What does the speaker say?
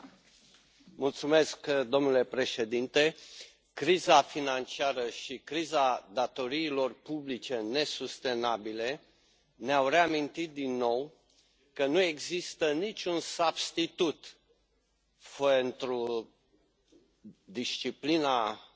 Domnule președinte, criza financiară și criza datoriilor publice nesustenabile ne au reamintit că nu există niciun substitut pentru disciplina bugetară,